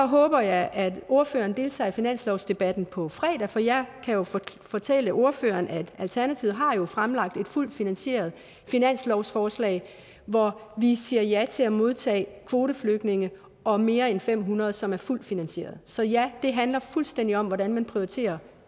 håber jeg at ordføreren deltager i finanslovsdebatten på fredag for jeg kan jo fortælle fortælle ordføreren at alternativet har fremlagt et fuldt finansieret finanslovsforslag hvor vi siger ja til at modtage kvoteflygtninge og mere end fem hundrede som er fuldt finansieret så ja det handler fuldstændig om hvordan man prioriterer